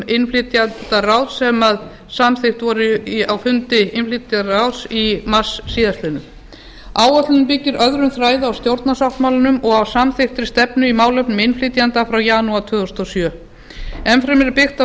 innflytjendaráðs sem samþykkt var á fundi innflytjendaráðs í mars síðastliðinn áætlunin byggir öðrum þræði á stjórnarsáttmálanum og á samþykktri stefnu í málefnum innflytjenda frá janúar tvö þúsund og sjö enn fremur er byggt á